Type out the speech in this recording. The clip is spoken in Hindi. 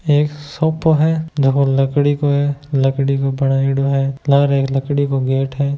यह एक सोफा है झको लकड़ी का बनायेडा है लार लकड़ी का गेट है।